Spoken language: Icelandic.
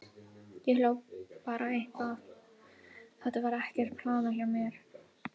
Ég hljóp bara eitthvað, þetta var ekkert planað hjá mér.